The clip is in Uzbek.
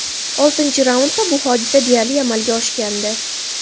Oltinchi raundda bu hodisa deyarli amalga oshgandi.